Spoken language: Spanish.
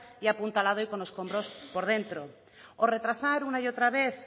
y apuntalado y con escombros por dentro o retrasar una y otra vez